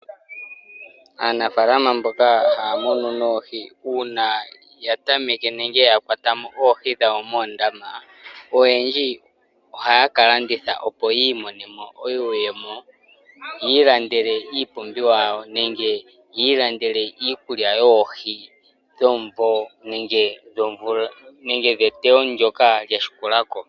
Aanafalama mboka haya munu noohi uuna ya tameke nenge ya kwatamo oohi dhawo moondama, oyendji ohaya ka landitha opo ya imonenemo iiyemo ya ilandele iipumbiwa yawo, nenge ya ilandele iikulya yoohi dhomumvo nenge dheteyo ndoka lya landulako.